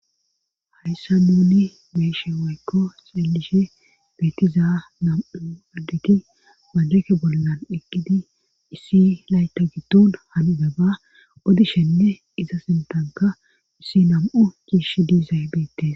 hayssa nuuni beeshe woykko xeelishe beetiza nam7u addegi majeke bollan eqqidi issi layta gitton hanibeba odishenne iza sintanka issi nam7u giish dizaybeete